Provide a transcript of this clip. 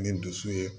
Ni dusu ye